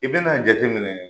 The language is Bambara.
I bɛna na a jateminɛ.